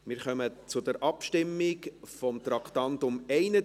Wir kommen zur Abstimmung zu Traktandum 31.